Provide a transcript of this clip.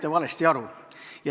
Te saite valesti aru.